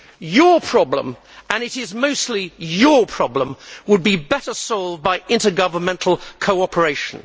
Your problem, and it is mostly your problem, would be better solved by intergovernmental cooperation.